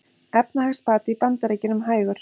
Efnahagsbati í Bandaríkjunum hægur